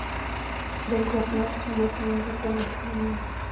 Dongruok mar cham otenore kuom gik mang'eny.